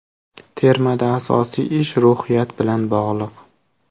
Termada asosiy ish ruhiyat bilan bog‘liq.